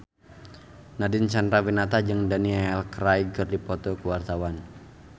Nadine Chandrawinata jeung Daniel Craig keur dipoto ku wartawan